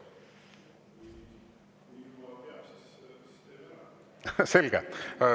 Selge.